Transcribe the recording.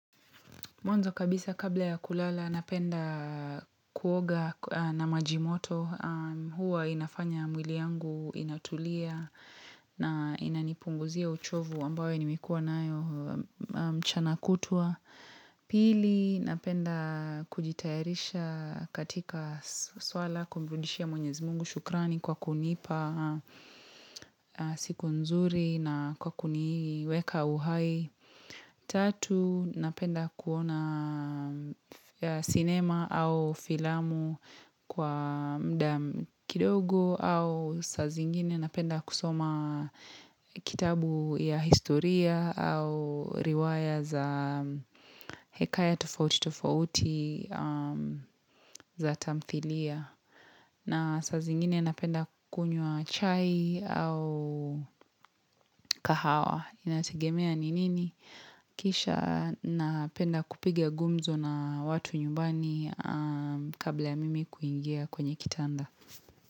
Mwanzo kabisa kabla ya kulala napenda kuoga na maji moto. Huwa inafanya mwili yangu inatulia na inanipunguzia uchovu ambayo nimekuwa nayo mchana kutwa. Pili napenda kujitayarisha katika suala kumrudishia mwenyezi mungu shukrani kwa kunipa siku nzuri na kwa kuniweka uhai. Tatu napenda kuona sinema au filamu kwa muda kidogo au saa zingine napenda kusoma kitabu ya historia au riwaya za hekaya tofauti tofauti za tamthiliya. Na saa zingine napenda kukunywa chai au kahawa. Inategemea ni nini. Kisha napenda kupiga gumzo na watu nyumbani kabla ya mimi kuingia kwenye kitanda.